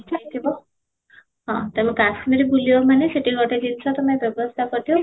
ଯାଇଥିବ ହଁ ତେଣୁ କାଶ୍ମୀର ବୁଲିବ ମାନେ ସେଠି ଗୋଟେ ଜିନିଷ ତୋମେ ବ୍ୟବସ୍ତା କରିଥିବ